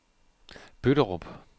Bøtterup